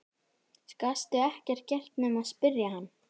Gastu ekkert gert nema spyrja hann?